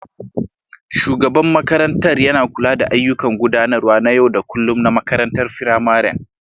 Shugaban makarantar yana kula da ayyukan gudanarwa na yau da kullun na makarantar firamarin